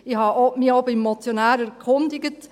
Ich habe mich auch beim Motionär erkundigt: